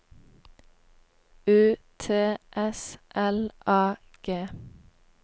U T S L A G